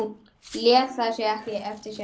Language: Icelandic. Lét það ekki eftir sér.